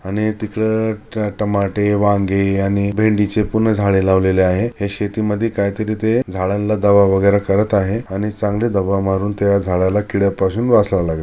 आणि तिकड टमाटे वांगी आणि भेंडीचे पूर्ण झाडे लावलेले आहे ह्या शेतीमध्ये काहीतरी ते झाडांना दवा वगैरे करत आहे आणि चांगली दवा मारून त्या झाडाला किड्यापासून वाचवाव लागेल--